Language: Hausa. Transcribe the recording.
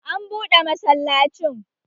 Ka buɗe masallacin!